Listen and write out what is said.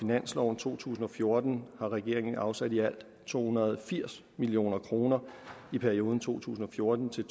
to tusind og fjorten har regeringen afsat i alt to hundrede og firs million kroner i perioden to tusind og fjorten til